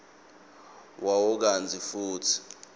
wawo kantsi futsi